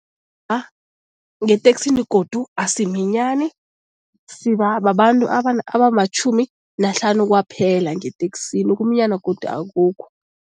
ngeteksini godu asiminyani, siba babantu abamatjhumi nahlanu kwaphela ngeteksini. Ukuminyana godu akukho.